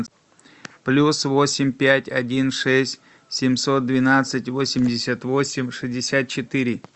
плюс восемь пять один шесть семьсот двенадцать восемьдесят восемь шестьдесят четыре